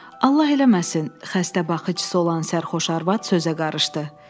Allah eləməsin, xəstə baxıcısı olan sərxoş arvad sözə qarışdı.